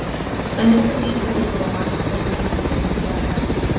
En er þetta vísbending um að markverðirnir í deildinni séu að verða sterkari?